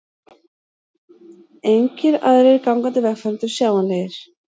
Engir aðrir gangandi vegfarendur sjáanlegir.